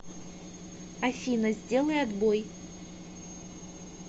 афина сделай отбой